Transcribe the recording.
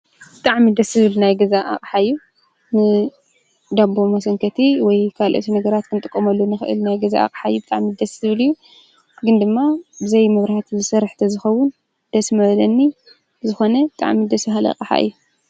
ብጣዕሚ ደስ ዝብል ናይ ገዛ ኣቅሓ እዩ። ንዳቦ መሰንከቲ ወይ ካልኦት ነገራት ክንጥቀመሉ ንክእል ናይ ገዛ ኣቕሓ እዩ። ብጣዕሚ ደስ ዝብል እዩ። ግን ድማ ብዘይ መብራህቲ ዝሰርሕ ተዝኸውን ደስ ምበለኒ። ብዝኾነ ብጣዕሚ ደስ በሃሊ ኣቕሓ እዩ።